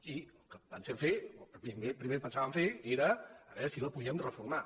i el que pen·sem fer el primer que pensàvem fer era veure si la po·díem reformar